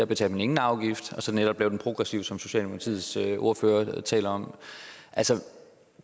betaler man ingen afgift og så netop gøre den progressiv som socialdemokratiets ordfører taler om